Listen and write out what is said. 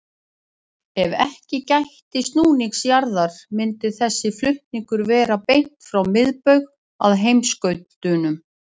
Ef ekki gætti snúnings jarðar myndi þessi flutningur vera beint frá miðbaug að heimskautunum.